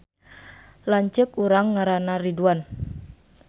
Lanceuk urang ngaranna Ridwan